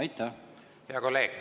Hea kolleeg!